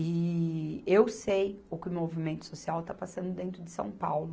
E eu sei o que o movimento social está passando dentro de São Paulo.